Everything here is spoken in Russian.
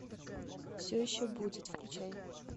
все еще будет включай